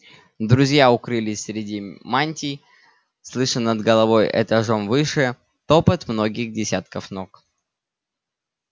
друзья укрылись среди мантий слыша над головой этажом выше топот многих десятков ног